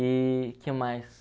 E que mais?